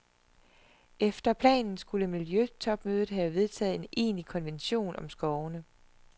Efter planen skulle miljøtopmødet have vedtaget en egentlig konvention om skovene.